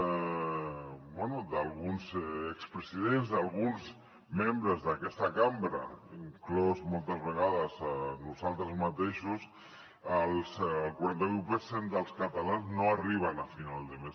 bé d’alguns expresidents d’alguns membres d’aquesta cambra inclosos moltes vegades nosaltres mateixos el quaranta vuit per cent dels catalans no arriben a final de mes